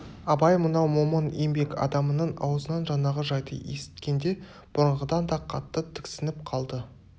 абай мынау момын еңбек адамының аузынан жаңағы жайды есіткенде бұрынғыдан да қатты тіксініп қалды